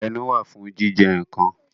Ẹnu wà fún jíjẹ nǹkan